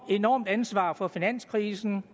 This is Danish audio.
enormt ansvar for finanskrisen